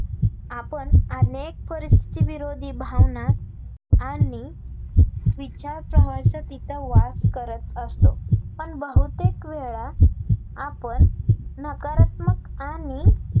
आपण अनेक परिस्थिविरोधी भावना आणि विचारप्रवाहाचा तिथे वास करत असतो, पण बहुतेक वेळा आपण नकारात्मक आणि